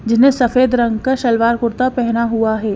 जिसने सफेद रंग का सलवार कुर्ता पहना हुआ है।